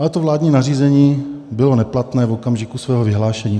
Ale to vládní nařízení bylo neplatné v okamžiku svého vyhlášení.